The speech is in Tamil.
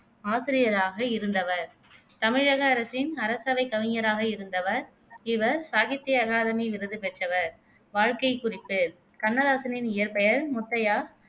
ஆசிரியராக இருந்தவர் தமிழக அரசின் அரசவைக் கவிஞராக இருந்தவர் இவர் சாகித்ய அகாதமி விருது பெற்றவர் வாழ்க்கை குறிப்பு கண்ணதாசனின் இயற்பெயர் முத்தையா